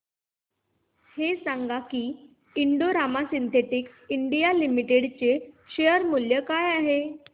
हे सांगा की Indo Rama Synthetics India Limited चे शेअर मूल्य काय आहे